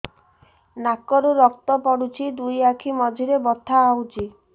ନାକରୁ ରକ୍ତ ପଡୁଛି ଦୁଇ ଆଖି ମଝିରେ ବଥା ହଉଚି